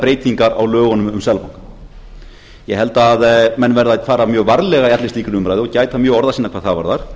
breytingar á lögunum um seðlabankann ég held að menn verði að fara mjög varlega í allri slíkri umræðu og gæta mjög orða sinna hvað það varðar